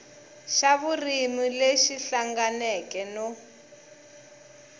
xa vurimi lexi hlanganeke no